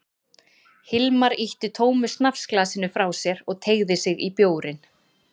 Hilmar ýtti tómu snafsglasinu frá sér og teygði sig í bjórinn.